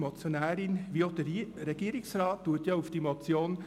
Die Motionärin wie auch der Regierungsrat verweisen auf die Motion